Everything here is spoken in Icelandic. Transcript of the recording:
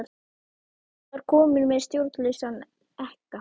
Ruth var komin með stjórnlausan ekka.